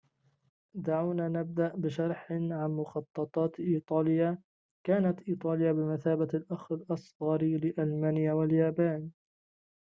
دعونا نبدأ بشرح عن مخططات إيطاليا كانت إيطاليا بمثابة الأخ الأصغر لألمانيا واليابان